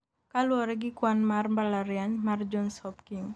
kaluwore gi kwan mar mbalariany mar Johns Hopkins